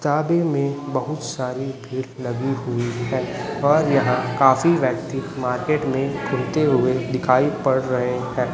शादी में बहुत सारी भीड़ लगी हुई है और यहां काफी व्यक्ति मार्केट में घुमते हुए दिखाई पड़ रहे हैं।